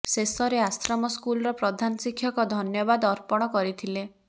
ଶେଷରେ ଆଶ୍ରମ ସ୍କୁଲର ପ୍ରଧାନ ଶିକ୍ଷକ ଧନ୍ୟବାଦ ଅର୍ପଣ କରିଥିଲେ